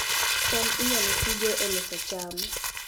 cham inyalo tigo e loso cham